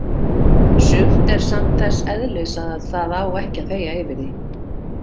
Sumt er samt þess eðlis að það á ekki að þegja yfir því.